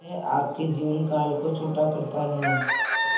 यह आपके जीवन काल को छोटा करता है